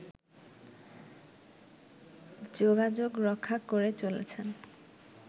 যোগাযোগ রক্ষা করে চলেছেন